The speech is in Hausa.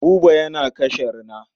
Buba yana kashe rina.